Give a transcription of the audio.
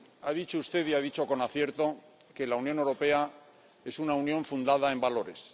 Ha dicho usted y ha dicho con acierto que la Unión Europea es una unión fundada en valores.